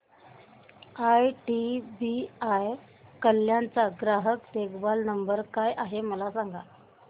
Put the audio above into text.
IDBI Kalyan चा ग्राहक देखभाल नंबर काय आहे मला सांगा